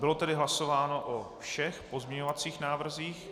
Bylo tedy hlasováno o všech pozměňovacích návrzích?